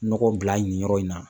Nɔgɔ bila nin yɔrɔ in na